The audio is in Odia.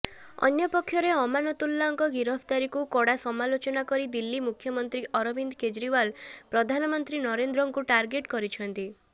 ଅନ୍ୟପକ୍ଷରେ ଅମାନତୁଲ୍ଲାଙ୍କ ଗିରଫଦାରୀକୁ କଡ଼ା ସମାଲୋଚନା କରି ଦିଲ୍ଲୀ ମୁଖ୍ୟମନ୍ତ୍ରୀ ଅରବିନ୍ଦ କେଜ୍ରିୱାଲ୍ ପ୍ରଧାନମନ୍ତ୍ରୀ ନରେନ୍ଦ୍ରଙ୍କୁ ଟାର୍ଗେଟ କରିଛନ୍ତି